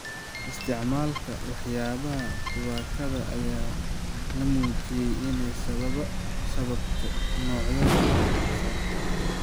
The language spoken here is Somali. Isticmaalka waxyaabaha tubaakada ayaa la muujiyay inay sababto noocyo badan oo kansar ah.